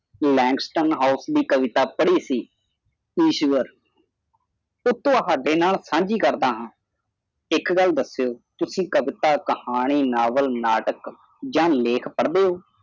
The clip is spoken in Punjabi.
langston house ਦੀ ਕਵਿਤਾ ਪੜ੍ਹੀ ਸੀ। ਇਸ਼ਵਰ ਉਹ ਤੁਹਾਡੇ ਨਾਲ ਸਾਂਝੀ ਕਰਦਾ ਹਾਂ ਇੱਕ ਗੱਲ ਦੱਸਿਉ ਤੁਸੀਂ ਕਵਿਤਾ ਕਹਾਣੀ NOVAL ਨਾਟਕ ਜਾਂ ਲੇਖ ਪੜਦੇ ਹੋ